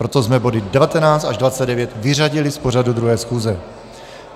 Proto jsme body 19 až 29 vyřadili z pořadu 2. schůze.